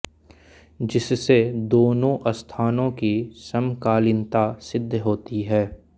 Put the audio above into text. जिससे दोनों स्थानों की समकालीनता सिद्ध होती है